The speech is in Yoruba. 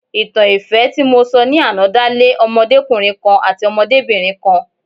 Ìtàn ìfẹ́ tí mo sọ ní àná dá lé odomọkùnrin kan àti odomobinrin kan.